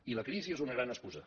i la crisi és una gran excusa